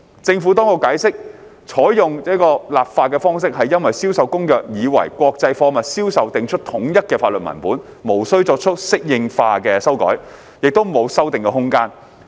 政府當局解釋，採用這個立法方式是因為《銷售公約》已為國際貨物銷售訂出統一的法律文本，無需作出適應化修改，也沒有修訂空間。